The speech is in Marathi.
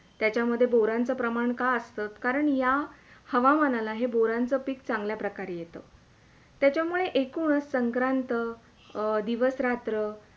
त्याच्यामध्ये बोरांचा प्रमाण का असतं? कारण या हवामानाला बोरांचा पीक चांगल्या प्रकारे येतं , त्याच्यामुळे ऐकूनच संक्रांत दिवस - रात्र